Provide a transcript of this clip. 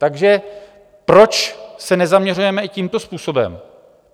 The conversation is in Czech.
Takže proč se nezaměřujeme i tímto způsobem?